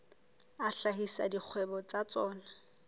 a hlahisa dikgwebo tsa tsona